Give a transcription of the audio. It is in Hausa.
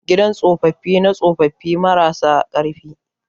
gidan tsopapi na tsopapine mara sa karfi